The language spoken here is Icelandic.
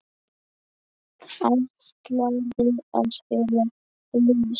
Ætlarðu að spila blús?